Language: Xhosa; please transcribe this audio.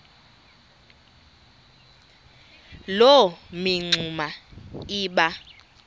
loo mingxuma iba